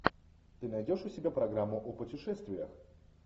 ты найдешь у себя программу о путешествиях